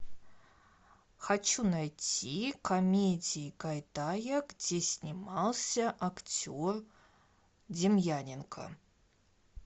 хочу найти комедии гайдая где снимался актер демьяненко